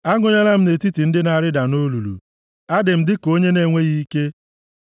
Agụnyela m nʼetiti ndị na-arịda nʼolulu. Adị m dịka onye na-enweghị ike.